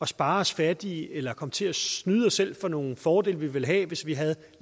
spare os fattige eller kommer til at snyde os selv for nogle fordele vi ville have hvis vi havde